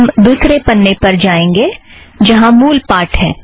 हम दुसरे पन्ने पर जाएंगे जहाँ मूल पाठ है